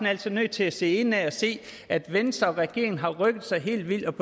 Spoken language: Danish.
altså nødt til at se indad og se at venstre og regeringen har rykket sig helt vildt